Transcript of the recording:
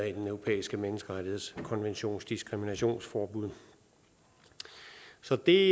europæiske menneskerettighedskonventions diskriminationsforbud så det